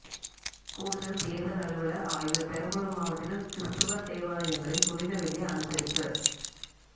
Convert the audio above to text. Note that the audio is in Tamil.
கூடுதல் தேர்தல் அலுவலர் ஆய்வு பெரம்பலூர் மாவட்டத்தில் கிறிஸ்தவ தேவாலயங்களில் புனித வெள்ளி அனுசரிப்பு